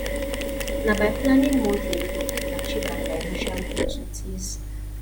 na by planning monthly we go fit achieve our financial goals with ease